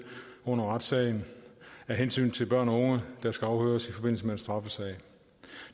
under retssagen af hensyn til børn og unge der skal afhøres i forbindelse med en straffesag